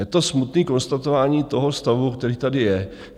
Je to smutný konstatování toho stavu, který tady je.